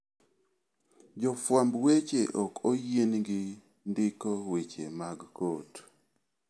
Jofwamb weche ok oyienegi ndiko weche mag kot.